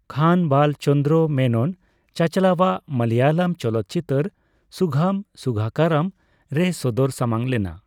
ᱠᱷᱟᱱ ᱵᱟᱞ ᱪᱚᱱᱫᱨᱚ ᱢᱮᱱᱚᱱ ᱪᱟᱪᱟᱞᱟᱣᱟᱜ ᱢᱟᱞᱟᱭᱟᱞᱟᱢ ᱪᱚᱞᱚᱛ ᱪᱤᱛᱟᱹᱨ ᱥᱩᱜᱷᱟᱢ ᱥᱩᱜᱷᱟᱠᱟᱨᱟᱢᱼᱨᱮᱭ ᱥᱚᱫᱚᱨ ᱥᱟᱢᱟᱝ ᱞᱮᱱᱟ ᱾